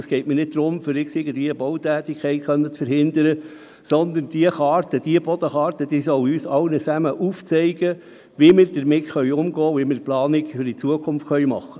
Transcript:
Es geht mir nicht darum, irgendwelche Bautätigkeit zu verhindern, aber die Bodenkarte soll uns allen aufzeigen, wie wir damit umgehen und wie wir die Planung für die Zukunft machen sollen.